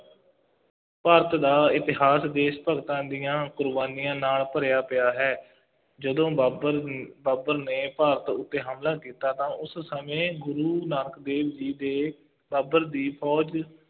ਭਾਰਤ ਦਾ ਇਤਿਹਾਸ ਦੇਸ਼ ਭਗਤਾਂ ਦੀਆਂ ਕੁਰਬਾਨੀਆਂ ਨਾਲ ਭਰਿਆ ਪਿਆ ਹੈ, ਜਦੋਂ ਬਾਬਰ ਬਾਬਰ ਨੇ ਭਾਰਤ ਉੱਤੇ ਹਮਲਾ ਕੀਤਾ ਤਾਂ ਉਸ ਸਮੇਂ ਗੁਰੂ ਨਾਨਕ ਦੇਵ ਜੀ ਦੇ ਬਾਬਰ ਦੀ ਫੌਜ